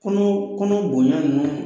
Kunun kunun bonya nunnu